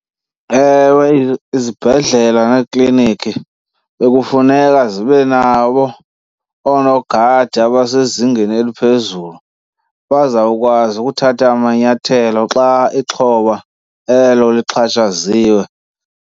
Ewe, izibhedlele neekliniki bekufuneka zibe nabo oonogada abasezingeni eliphezulu, bazawukwazi ukuthatha amanyathelo xa ixhoba elo lixhatshaziwe.